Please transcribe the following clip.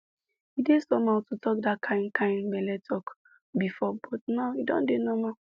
e dey somehow to talk that kind kind belle talk before but now e don dey normal